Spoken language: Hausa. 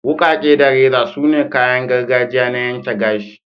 Wukake da reza sune kayan gargajiya na yanke gashi.